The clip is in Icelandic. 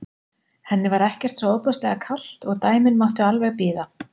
Henni var ekkert svo ofboðslega kalt og dæmin máttu alveg bíða.